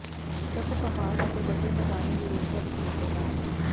ਸਭ ਪਹਾੜ ਅਤੇ ਵੱਡੇ ਮੈਦਾਨੀ ਯੂਰੇਸ਼ੀਆ ਵਿਚ ਮਿਲਦੇ ਹਨ